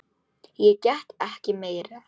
Ég get ekki meira.